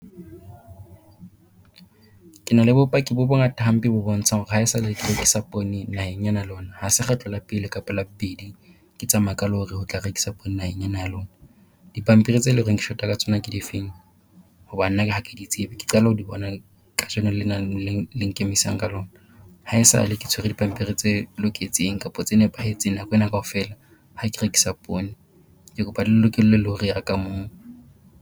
Ke na le bopaki bo bongata hampe bo bontshang hore haesale ke rekisa poone naheng ena ya lona. Ha se kgetlo la pele kapa la bobedi ke tsamaya ka lorry ho tla rekisa poone naheng ena ya lona. Dipampiri tse le reng ke short-a ka tsona ke difeng? Hoba nna ha ke di tsebe ke qala ho di bona kajeno lena leng le nkemisa ka lona. Haesale ke tshwere dipampiri tse loketseng kapo tse nepahetseng nako ena kaofela ha ke rekisa poone. ke kopa le lokolle lorry ya ka moo.